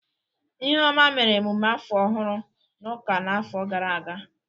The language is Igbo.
Ihuoma mere emume afọ ọhụrụ n'ụka n'afọ gara aga.